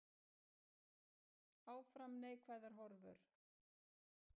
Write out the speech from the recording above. Áfram neikvæðar horfur